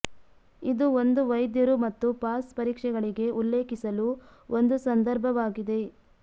ಇದು ಒಂದು ವೈದ್ಯರು ಮತ್ತು ಪಾಸ್ ಪರೀಕ್ಷೆಗಳಿಗೆ ಉಲ್ಲೇಖಿಸಲು ಒಂದು ಸಂದರ್ಭವಾಗಿದೆ